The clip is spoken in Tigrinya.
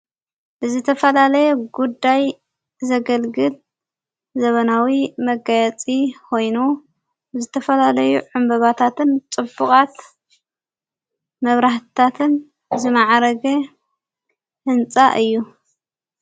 ብዘተፋላለየ ጉዳይ ዘገልግል ዘበናዊ መጋያፂ ኮይኑ ብዝተፈላለይ ዕምበባታትን ጥቡቓት መብራህታትን ዝመዓረገ ሕንጻእ እዩ።